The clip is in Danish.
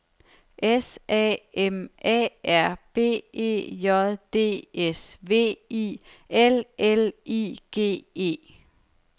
S A M A R B E J D S V I L L I G E